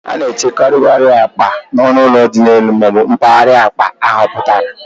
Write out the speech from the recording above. A na-echekwakarị akpa n'ọnụ ụlọ dị n'elu ma ọ bụ mpaghara akpa ahapụtara.